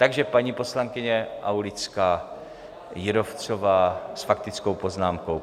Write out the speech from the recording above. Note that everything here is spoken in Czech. Takže paní poslankyně Aulická Jírovcová s faktickou poznámkou.